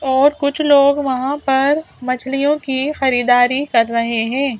और कुछ लोग वहां पर मछलियों की खरीदारी कर रहे है ।